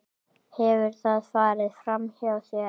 Hefur það farið framhjá þér?